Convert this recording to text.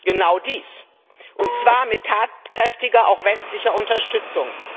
Genau dies, und zwar mit tatkräftiger, auch westlicher, Unterstützung.